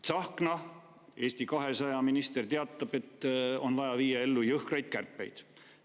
Tsahkna, Eesti 200 minister, teatab, et on vaja viia ellu jõhkraid kärpeid.